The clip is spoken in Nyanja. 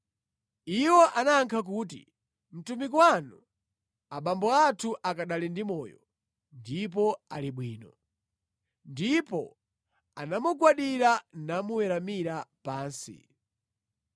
Iwo anayankha kuti, “Mtumiki wanu abambo athu akanali ndi moyo ndipo ali bwino.” Ndipo anamugwadira namuweramira pansi.